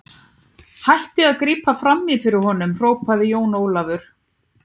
Hættið að grípa framí fyrir honum, hrópaði Jón Ólafur.